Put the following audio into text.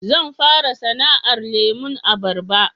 Zan fara sana'ar lemon abarba